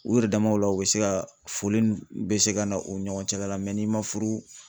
U yɛrɛ damaw la u bɛ se ka foli ni bɛ se ka na u ɲɔgɔncɛ la n'i ma furu